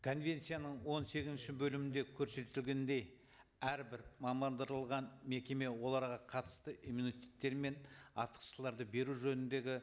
конвенцияның он сегізінші бөлімінде көрсетілгендей әрбір мекеме оларға қатысты иммунитеттер мен артықшыларды беру жөніндегі